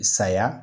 Saya